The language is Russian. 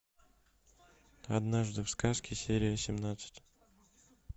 однажды в сказке серия семнадцать